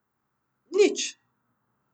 Nič.